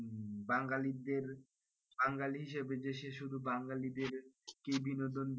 বাঙালিদের বাঙালি হিসেবে যে সে শুধু বাঙালিদের কেই বিনোদন,